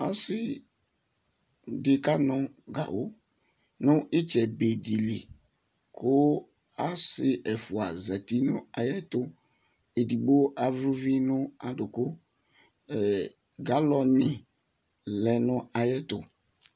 Ɔsɩ dɩ kanʋ gawʋ nʋ ɩtsɛ be dɩ li kʋ asɩ ɛfʋa zati nʋ ayɛtʋ edigbo avlɛ uvi nʋ adʋkʋ, galɔnɩ lɛ nʋ ayɛtʋ